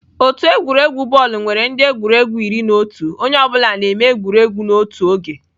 Otu egwuregwu bọọlụ nwere ndị egwuregwu iri na otu onye ọ bụla n'ime egwuregwu n'otu oge.